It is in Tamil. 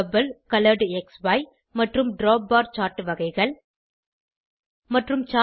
பபிள் கொலரெட்க்ஸி மற்றும் டிராப்பார் சார்ட் வகைகள் மற்றும் 4